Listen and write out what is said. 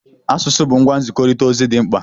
Asụsụ bụ ngwa nzikọrịta ozi dị mkpa.